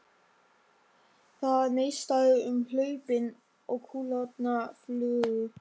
Það neistaði um hlaupin og kúlurnar flugu.